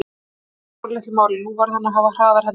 Það skipti sáralitlu máli, nú varð hann að hafa hraðar hendur.